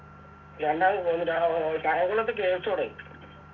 രണ്ടാമത് മറ്റ ഏർ കായംകുളത്ത് KFC തുടങ്ങി